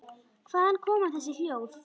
Hvaðan koma þessi hljóð?